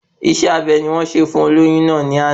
Isé abe ni wọ́n ṣe fún olóyún náà ni ana